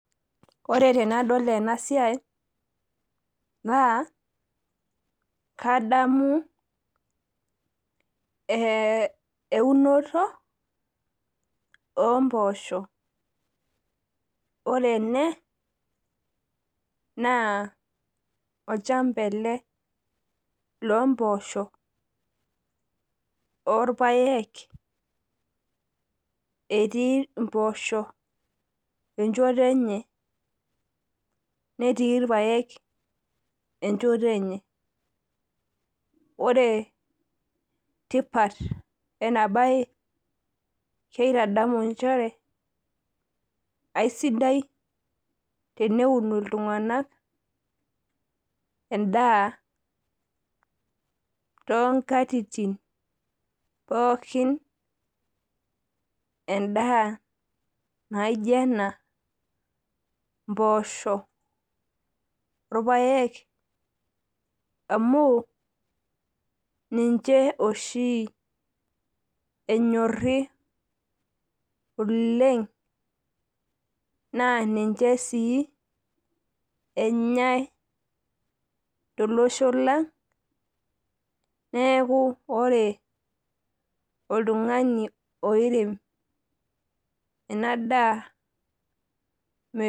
Ore tanadol ena siai naa kadamu eunoto oomboosho. ore ene naa olchamba ele loomboosho orpayek etii mboosho echoto enye netii irpayek enchoto enye. Ore tipat ena bae kaitadamu nchere keisidai teneu iltunganak endaa toonkatitin pookin endaa naijio ena mpoosho orpayek amuu ninche oshi enyorri oleng naa ninche sii enyai tolosho lang neaku ore oltungani oirem ena daa metum